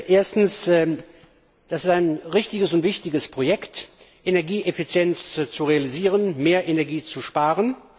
Erstens, es ist ein richtiges und wichtiges Projekt, Energieeffizienz zu realisieren, mehr Energie zu sparen.